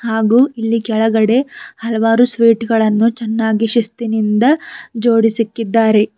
ಹಾಗು ಇಲ್ಲಿ ಕೆಳಗಡೆ ಹಲವಾರು ಸ್ವೀಟ್ ಗಳನ್ನು ಚೆನ್ನಾಗಿ ಶಿಸ್ತಿನಿಂದ ಜೋಡಿಸಿಕ್ಕಿದ್ದಾರೆ.